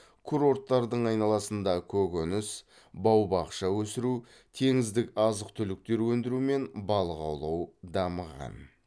курорттардың айналасында көкөніс бау бақша өсіру теңіздік азық түліктер өндіру мен балық аулау дамыған